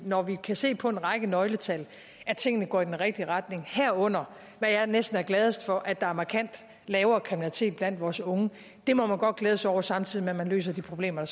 når vi kan se på en række nøgletal at tingene går i den rigtige retning herunder hvad jeg næsten er gladest for at der er markant lavere kriminalitet blandt vores unge det må man godt glæde sig over samtidig med at man løser de problemer